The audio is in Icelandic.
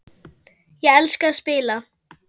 Ég elska að spila.